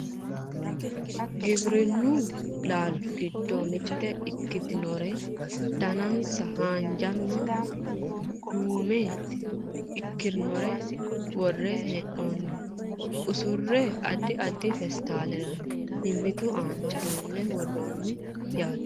giwirinnu laalchi giddo mitte ikitinore danansa haanjanna duume ikinore worre hee'noonniwa usurre addi addi peestaalera mimmitu aana duunne worroonni yaate